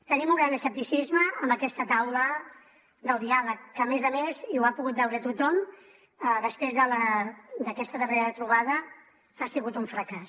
tenim un gran escepticisme amb aquesta taula del diàleg que a més a més i ho ha pogut veure tothom després d’aquesta darrera trobada ha sigut un fracàs